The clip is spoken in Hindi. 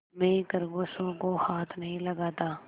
मैं खरगोशों को हाथ नहीं लगाता